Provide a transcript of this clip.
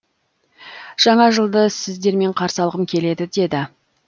жаңа жылды сіздермен қарсы алғым келеді деді